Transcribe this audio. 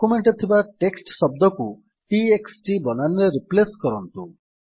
document ରେ ଥିବା text ଶବ୍ଦଟିକୁ t x t ବନାନରେ ରିପ୍ଲେସ୍ କରନ୍ତୁ